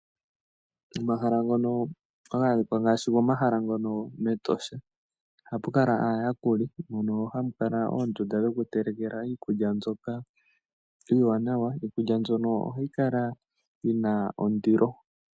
Omahala ngono haga adhika ngaashi gomahala ngono mEtosha ohapu kala aayakuli, mono hamu kala oondunda dhokutelekela iikulya mbyoka iiwanawa. Iikulya mbyoka ohayi kala yi na ondilo.